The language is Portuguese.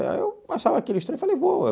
Eu achava aquilo estranho e falei, vou.